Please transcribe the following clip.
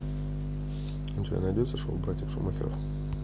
у тебя найдется шоу братьев шумахеров